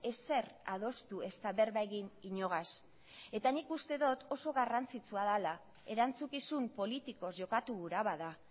ezer adostu ezta berba egin inogaz eta nik uste dot oso garrantzitsua dela erantzukizun politikoz jokatu gura bada